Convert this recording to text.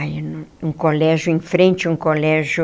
Aí no, um colégio em frente a um colégio...